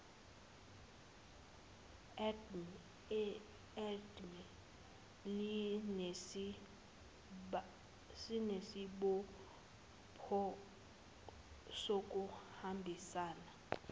dme linesibopho sokuhambisana